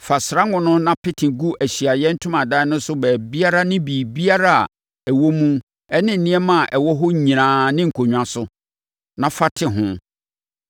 “Fa srango no na pete gu Ahyiaeɛ Ntomadan no so baabiara ne biribiara a ɛwɔ mu ne nneɛma a ɛwɔ hɔ nyinaa ne nkonnwa so, na fa te ho.